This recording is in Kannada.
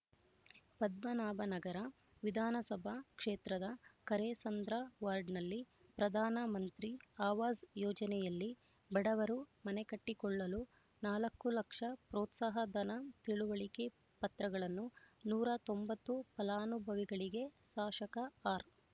ಪದ್ಮನಾಭನಗರ ವಿಧಾನಸಭಾ ಕ್ಷೇತ್ರದ ಕರೇಸಂದ್ರ ವಾರ್ಡ್‌ನಲ್ಲಿ ಪ್ರಧಾನ ಮಂತ್ರಿ ಅವಾಜ್ ಯೋಜನೆಯಲ್ಲಿ ಬಡವರು ಮನೆಕಟ್ಟಿಕೊಳ್ಳಲು ನಾಲ್ಕು ಲಕ್ಷ ಪ್ರೋತ್ಸಾಹ ಧನ ತಿಳುವಳಿಕೆ ಪತ್ರಗಳನ್ನು ನೂರ ತೊಂಬತ್ತು ಫಲಾನುಭವಿಗಳಿಗೆ ಶಾಸಕ ಆರ್